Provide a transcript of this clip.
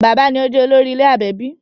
Bàbá ni ó jẹ̀ olórí ilé/ẹbí